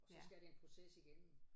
Og så skal der en proces igennem